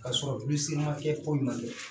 Ka sɔrɔ bi se ma kɛ foyi ma kɛ